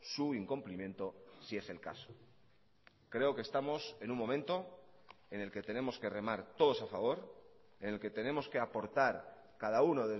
su incumplimiento si es el caso creo que estamos en un momento en el que tenemos que remar todos a favor en el que tenemos que aportar cada uno